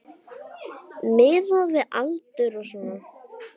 Miðað við aldur og svona.